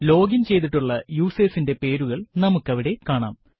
login ചെയ്തിട്ടുള്ള യൂസേർസിന്റെ പേരുകൾ നമ്മുക്കവിടെ കാണാം